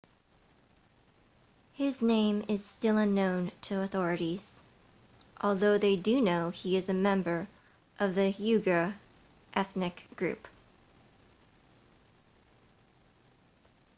his name is still unknown to authorities although they do know he is a member of the uighur ethnic group